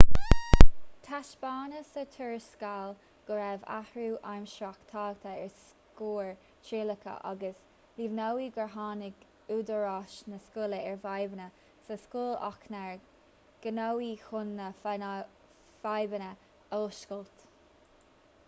taispeánadh sa tuarascáil go raibh athrú amhrasach tagtha ar scóir trialacha agus líomhnaíodh gur tháinig údaráis na scoile ar fhadhbanna sa scoil ach nár gníomhaíodh chun na fadhbanna a fhuascailt